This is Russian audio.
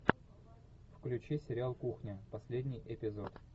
включи сериал кухня последний эпизод